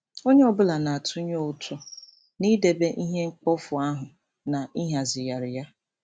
Onye ọ bụla na-atụnye ụtụ n'idebe ihe mkpofu ahụ na ịhazigharị ya.